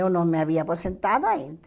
Eu não me havia aposentado ainda.